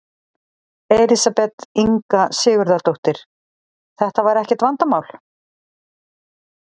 Elísabet Inga Sigurðardóttir: Þetta var ekkert vandamál?